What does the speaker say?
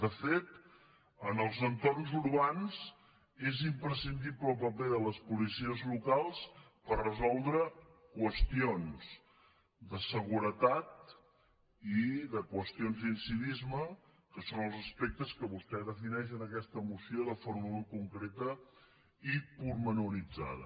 de fet en els entorns urbans és imprescindible el paper de les policies locals per resoldre qüestions de seguretat i qüestions d’incivisme que són els aspectes que vostè defineix en aquesta moció de forma molt concreta i detallada